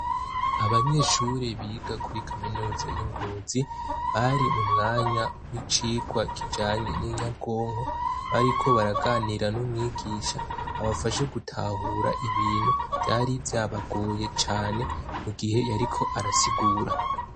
Abanyeshure biga kuri kaminuza yi Ngozi, bari mu mwanya w'icigwa kijanye n'inyabwonko. Bariko baraganira n'umwigisha, abafashe gutahura ibintu vyari vyabagoye cane, mu gihe yariko arasigura.